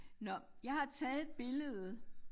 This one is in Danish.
Nåh jeg har taget et billede